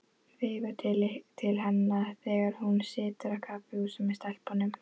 Veifa til hennar þegar hún situr á kaffihúsi með stelpunum.